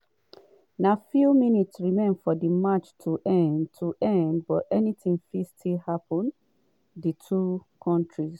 na few minutes remain for di match to end match to end but anytin fit still happun di two kontris